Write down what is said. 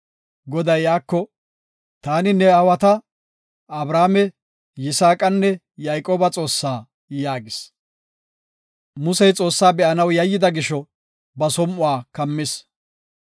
Goday iyako, “Taani ne aawata, Abrahaame, Yisaaqanne Yayqooba Xoossaa” yaagis. Musey Xoossaa ba7anaw yayyida gisho, ba som7uwa kammis.